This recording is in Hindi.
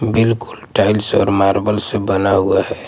बिल्कुल टाइल्स और मार्बल से बना हुआ हैं ।